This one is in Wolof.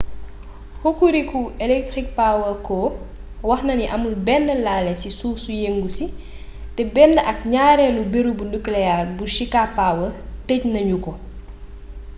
hokuriku electric power co waxnani amul bénn laalé ci suuf su yeengu si té bénn ak gnaarélu beereebu nuclear bu shika power teej na gnuko